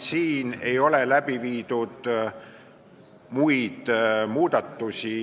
Siin ei ole tehtud muid muudatusi.